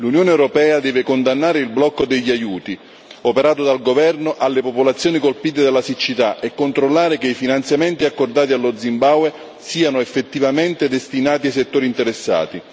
L'Unione europea deve condannare il blocco degli aiuti operato dal governo contro le popolazioni colpite dalla siccità e controllare che i finanziamenti accordati allo Zimbabwe siano effettivamente destinati ai settori interessati.